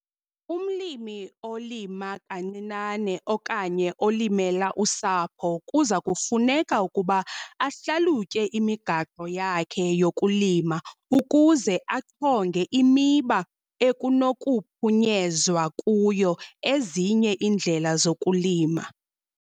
Umlimi olima kancinane okanye olimela usapho kuza kufuneka ukuba ahlalutye imigaqo yakhe yokulima ukuze achonge imiba ekunokuphunyezwa kuyo ezinye iindlela zokulima.